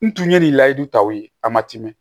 N tun ye nin layidu taw ye a ma tɛmɛ